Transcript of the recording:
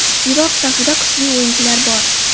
Iroq safida kuchli o‘yinchilar bor.